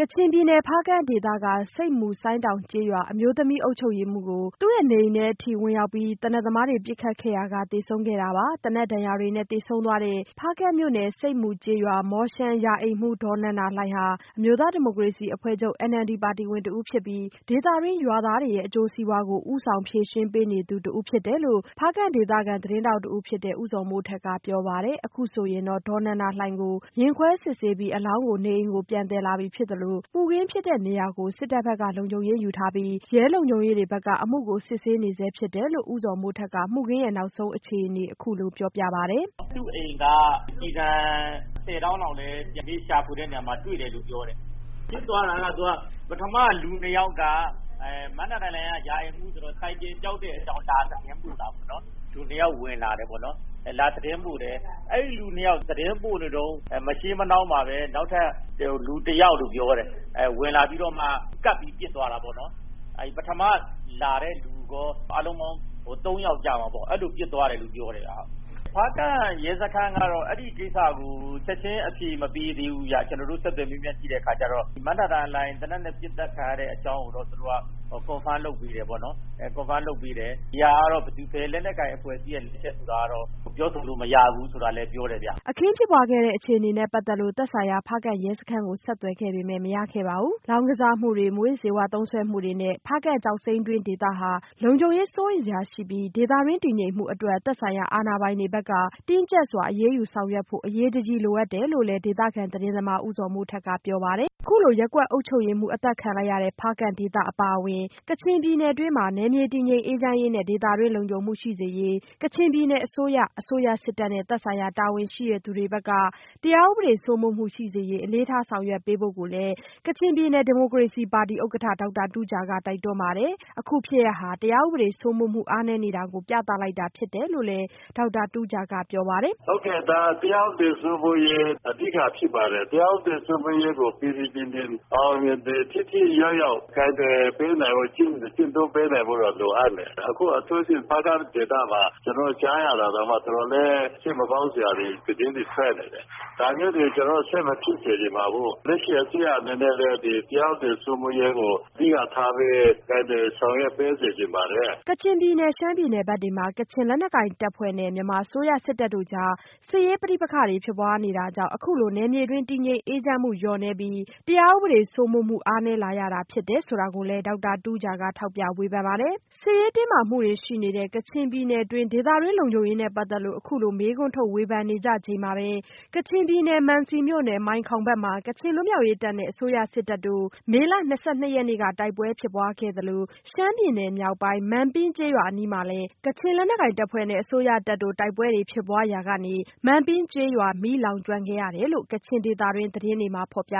ကချင်ပြည်နယ် ဖားကန့် ဒေသက ဆိပ်မူ ဆိုင်းတောင် ကျေးရွာ အမျိုးသမီး ရပ်ကွက်အုပ်ချုပ်ရေးမှူး အမျိုးသမီးကို နေအိမ်ထဲအထိ ဝင်ရောက်ပြီး သေနတ်သမားတွေ ပစ်ခတ်ခဲ့ရာက သေဆုံးခဲ့တာပါ။ သေနတ်ဒဏ်ရာတွေနဲ့ သေဆုံးသွားတဲ့ ဖားကန့်မြို့နယ် ဆိပ်မူကျေးရွာ မော်ရှန် ရာအိမ်မှူး ဒေါ်နန္ဒာလှိုင်ဟာ အမျိုးသားဒီမိုကရေစီအဖွဲ့ချုပ် NLD ပါတီဝင်တဦးဖြစ်ပြီး ဒေသတွင်း ရွာသားတွေရဲ့ အကျိုးစီးပွားကို ဦးဆောင်ဖြေရှင်းပေးနေသူ တဦးဖြစ်တယ်လို့ ဖားကန့် ဒေသခံသတင်းထောက်တဦးဖြစ်တဲ့ ဦးဇော်မိုးထက်ကပြောပါတယ်။ အခုဆိုရင်တော့ ဒေါ်နန္ဒာလှိုင်ကို ရင်ခွဲစစ်ဆေးပြီး အလောင်းကို နေအိမ်ကို ပြန်သယ်လာပြီဖြစ်သလို မူခင်းဖြစ်တဲ့နေရာကို စစ်တပ်ဘက်က လုံခြုံရေးယူထားပြီး ရဲလုံခြုံရေးတွေဘက်က အမှုကို စစ်ဆေးနေဆဲဖြစ်တယ်လို့ ဦးဇော်မိုးထက်က မှုခင်းနောက်ဆုံးအခြေအနေ အခုလိုပြောပြပါတယ်။ “သူ့အိမ်က ကျည်ဆံ ၁၀ တောင့်လောက်လည်း ဒီကနေ့ ရှာဖွေတဲ့နေရာမှာတွေ့တယ်။ ဖြစ်သွားတာက ပထမ လူ ၂ ယောက်က ဒေါ်နန္ဒာလှိုင်က ရာအိမ်မှူးဆိုတော့ ဆိုင်ကယ်ပျောက်တဲ့အကြောင်း လာတိုင်တာပေါ့နော်။ လူ ၂ ယောက် ဝင်လာတယ်ပေါ့နော်။ လာသတင်းပို့တယ်။ အဲဒီလူ ၂ ယောက် သတင်းပို့နေတုန်း မရှေးမနှောင်းမှာပဲ နောက်ထပ် လူ ၁ ယောက်ဝင်လာပြီးတော့မှ ကပ်ပြီးပစ်သွားတာပေါ့နော်။ ပထမလာတဲ့လူရော အားလုံးပေါင်း ၃ ယော်ပေါ့ ၊ အဲလိုပစ်သွားတယ်လို့ပြောတယ်။ ဖားကန့်ရဲစခန်းကတော့ အဲဒီကိစ္စကို ချက်ချင်းအဖြေမပေးသေးဘူးခင်ဗျ ကျနော်တို့ဆက်သွယ်မေးမြန်းကြည့်တဲ့အခါကျတော့။ မနန္ဒာလှိုင် သေနတ်နဲ့ ပစ်သတ်ခံရတဲ့ အကြောင်းကိုတော့ confirm လုပ်ပေးတယ်ပေါ့နော်။ ဒီဟာကတော့ ဘယ်လက်နက်ကိုင်အဖွဲ့အစည်းက ပစ်တယ်ဆိုတာကတော့ ပြောဆိုလို့မရဘူးဆိုတာလည်း ပြောတယ်ခင်ဗျ။” အခင်းဖြစ်ပွားခဲ့တဲ့ အခြေအနေနဲ့ ပတ်သက်လို့ သက်ဆိုင်ရာ ရဲစခန်းကို ဆက်သွယ်ခဲ့ပေမဲ့ မရခဲ့ပါဘူး။ လောင်းကစားမှုတွေ၊ မူးယစ်ဆေးဝါး သုံးစွဲသူတွေ နဲ့ ဖားကန့်ကျောက်စိမ်းတွင်းဒေသဟာ လုံခြုံရေး စိုးရိမ်စရာရှိပြီး ဒေသတွင်း တည်ငြိမ်မှုအတွက် သက်ဆိုင်ရာအာဏာပိုင်တွေဘက်က တင်းကျပ်စွာအရေးယူဆောင်ရွက်ဖို့ အရေးကြီး လိုအပ်တယ်လို့လည်း ဒေသခံသတင်းသမား ဦးဇော်မိုးထက်ကပြောပါတယ်။ အခုလို ရပ်ကွက်အုပ်ချုပ်ရေးမှူးအသတ်ခံလိုက်ရတဲ့ ဖားကန့်ဒေသအပါအဝင် ကချင်ပြည်နယ်တွင်းမှာ နယ်မြေတည်ငြိမ်အေးချမ်းရေးနဲ့ ဒေသတွင်းလုံခြုံမှုရှိစေရေး ကချင်ပြည်နယ်အစိုးရ၊ အစိုးရစစ်တပ်နဲ့ သက်ဆိုင်ရာ တာဝန်ရှိသူတွေဘက်က တရားဥပဒေစိုးမိုးမှုရှိစေရေး အလေးထား ဆောင်ရွက်ပေးဖို့ကိုလည်း ကချင်ပြည်နယ် ဒီမိုကရေစီပါတီဥက္ကဋ္ဌ ဒေါက်တာတူးဂျာက တိုက်တွန်းပါတယ်။ အခုဖြစ်ရပ်ဟာ တရားဥပဒေစိုးမိုးမှုအားနည်းနေတာကို ပြသလိုက်တာဖြစ်တယ်လို့လည်း ဒေါက်တာတူးဂျာကပြောပါတယ်။ “ဟုတ်ကဲ့ ဒါက တရားဥပဒေစိုးမိုးရေး အဓိကဖြစ်ပါတယ်။ တရားဥပဒေစိုးမိုးရေးကို ပြီပြီပြင်ပြင် ၊ အောင်အောင်မြင်မြင် ထိထိရောက်ရောက်ကိုင်တွယ်ပေးနိုင်ဖို့ ကျင့်သုံးပေးနိုင်ဖို့တော့လိုအပ်မယ်။ အခုအထူးသဖြင့် ဖားကန့်ဒေသမှာ ကျနော်တို့ ကြားရတာတောင်မှ တော်တော်လေး စိတ်မကောင်းစရာသတင်းတွေထွက်နေတယ်။ ဒါမျိုးတွေ ကျနော်တို့ ဆက်မဖြစ်စေချင်ပါဘူး။ လက်ရှိအစိုးရအနေနဲ့လည်း တရားဥပဒေစိုးမိုးရေးကို အဓိကထားပြီး တာဝန်ယူဆောင်ရွက်ပေးစေချင်ပါတယ်။” ကချင်ပြည်နယ် ရှမ်းပြည်နယ်ဘက်တွေမှာ ကချင်လက်နက်ကိုင်တပ်ဖွဲ့နဲ့ မြန်မာအစိုးရစစ်တပ်တို့ကြား စစ်ရေးပဋိပက္ခတွေဖြစ်ပွားနေ တာကြောင့် အခုလို နယ်မြေတွင်း တည်ငြိမ်အေးချမ်းမှုလျော့နည်းပြီး တရားဥပဒေစိုးမိုးမှု အားနည်းလာရ တာဖြစ်တယ်ဆိုတာကိုလည်း ဒေါက်တာတူးဂျာက ထောက်ပြဝေဖန်ပါတယ်။ စစ်ရေးတင်းမာမှုတွေရှိနေတဲ့ ကချင်ပြည်နယ်တွင်း ဒေသတွင်း လုံခြုံရေးနဲ့ပတ်သက်လို့ အခုလိုမေးခွန်းထုတ် ဝေဖန်နေကြချိန်မှာပဲ ကချင်ပြည်နယ် မံစီမြို့နယ် မိုင်းခေါင်ဘက်မှာလည်း ကချင်လွတ်မြောက်ရေးတပ်နဲ့ မြန်မာအစိုးရ စစ်တပ်တို့ မေလ ၂၂ ရက်နေ့က တိုက်ပွဲဖြစ်ပွားခဲ့သလို ရှမ်းပြည်နယ် မြောက်ပိုင်း မန်ပင်းကျေးရွာ အနီးမှာလည်း ကချင်လွတ်မြောက်ရေးတပ်နဲ့ အစိုးရတပ်တို့ တိုက်ပွဲတွေဖြစ်ပွားရာ ကနေ မန်ပင်းကျေးရွာ မီးလောင်ကျွမ်းခဲ့ရတယ်လို့ ကချင်ဒေသတွင်း သတင်းတွေမှာ ဖော်ပြ